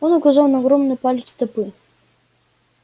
он указал на огромный палец стопы